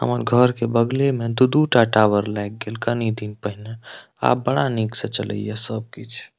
हमर घर के बगले में दू-दू टा टावर लाग गेल कनी दिन पेहना आब बड़ा निक से चले या सब किछ।